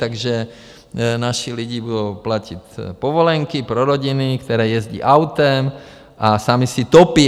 Takže naši lidi budou platit povolenky pro rodiny, které jezdí autem a sami si topí.